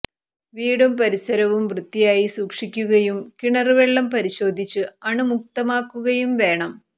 വീടും പരിസരവും വൃത്തിയായി സൂക്ഷിക്കുകയും കിണര് വെള്ളം പരിശോധിച്ച് അണുമുക്തമാക്കുകയും വേണം